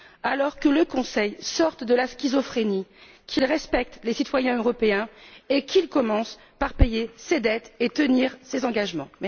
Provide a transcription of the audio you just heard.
Alors, que le Conseil sorte de la schizophrénie, qu'il respecte les citoyens européens et qu'il commence par payer ses dettes et tenir ses engagements!